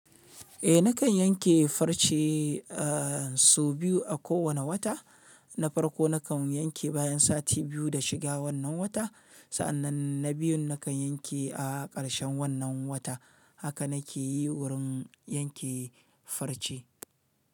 Eh nakan yanke farce so biyu a kowane wata. Na farko nakan yanke bayan sati biyu da shiga wannan wata, sa'annan na biyun nakan yanke a ƙarshen wannan wata. Haka na ke yi wurin yanke farce.